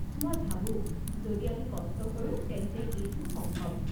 মই ভাবো, যদি আমি কষ্ট কৰো তেন্তে এইটো সম্ভৱ।